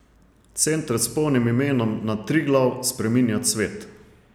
Center s polnim imenom Na Triglav spreminjat svet!